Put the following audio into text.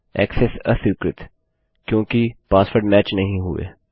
access अस्वीकृत क्योंकि password match नहीं हुये